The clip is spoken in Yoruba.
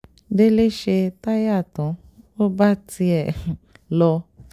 délé ṣe táyà tán ò bá tiẹ̀ um lọ lọ